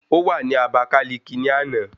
Ó wà ní Àbákáliki ní àná